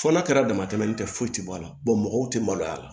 Fɔ n'a kɛra dama tɛmɛnen tɛ foyi tɛ bɔ a la mɔgɔw tɛ maloya a la